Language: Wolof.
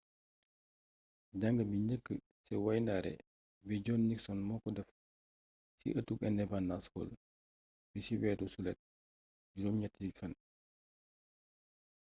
jang bi njëkk ci wayndaare bi john nixon moko déf ci ëtug independence hall bi ci wéru sulét juróom ñetti fan